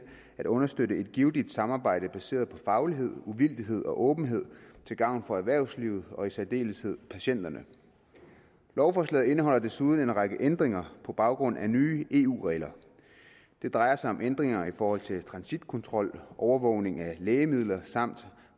at understøtte et givtigt samarbejde baseret på faglighed uvildighed og åbenhed til gavn for erhvervslivet og i særdeleshed for patienterne lovforslaget indeholder desuden en række ændringer på baggrund af nye eu regler det drejer sig om ændringer i forhold til transitkontrol overvågning af lægemidler samt